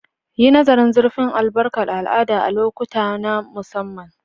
Yi nazarin zurfin albarkar al'ada a lokuta na musamman.